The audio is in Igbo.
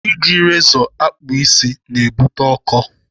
Iji rezọ akpụ isi na-ebute ọkọ.